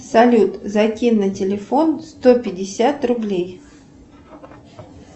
салют закинь на телефон сто пятьдесят рублей